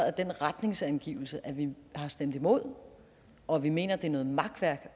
at den retningsangivelse at vi har stemt imod og at vi mener at det er noget makværk